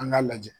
An k'a lajɛ